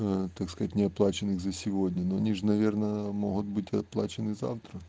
аа так сказать неоплаченных за сегодня но они же наверное могут быть оплачены завтра